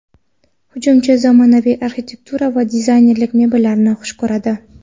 Hujumchi zamonaviy arxitektura va dizaynerlik mebellarini xush ko‘radi.